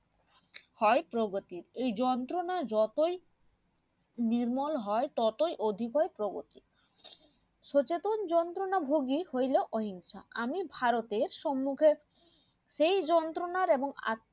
হয় প্রগতির এই যন্ত্রনা যতই নির্মল হয় ততই অধিক হয় প্রগতির সচেতন যন্ত্রনা ভোগী হইলো অহিংসা আমি ভারতের সমুক্ষে সেই যন্ত্রনার এবং